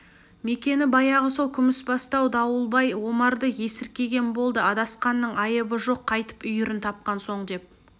мекені баяғы сол күмісбастау дауылбай омарды есіркеген болды адасқанның айыбы жоқ қайтып үйірін тапқан соң деп